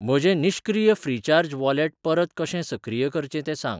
म्हजें निश्क्रीय recharge wallet परत कशें सक्रिय करचें तें सांग.